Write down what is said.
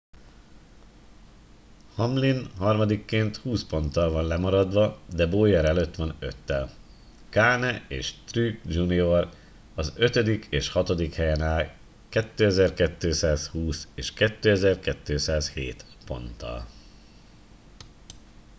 hamlin harmadikként húsz ponttal van lemaradva de bowyer előtt van öttel kahne és truex jr az ötödik és hatodik helyen áll 2220 és 2207 ponttal